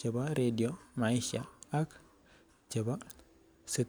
chebo radio maisha ak chebo sit.